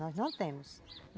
Nós não temos.